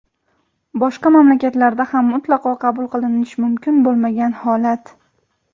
boshqa mamlakatlarda ham mutlaqo qabul qilinishi mumkin bo‘lmagan holat.